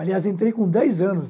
Aliás, entrei com dez anos.